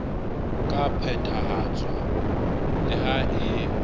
ka phethahatswa le ha e